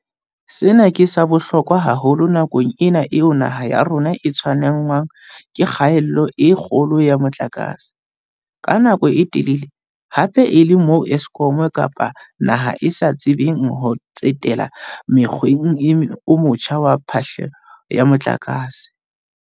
Sena ke sa bohlokwa haholo nakong ena eo naha ya rona e tshwenngwang ke kgaello e kgolo ya motlakase, ka nako e telele, hape e le moo Eskom kapa naha e sa tsebeng ho tsetela mokgweng o motjha wa phehlo ya motlakase.